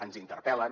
ens interpel·len